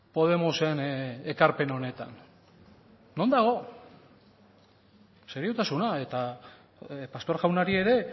podemosen ekarpen honetan non dago seriotasuna eta pastor jaunari ere